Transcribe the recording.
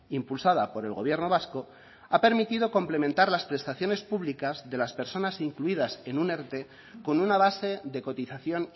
impulsada por el gobierno vasco ha permitido complementar las prestaciones públicas de las personas incluidas en un erte con una base de cotización